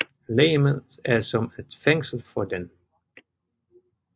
Legemet er som et fængsel for den